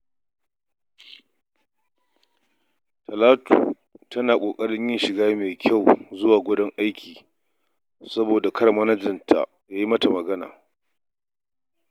Talatu tana ƙaƙarin yin shiga mai kyau idan za ta aiki, domin kada oganta ya yi mata magana.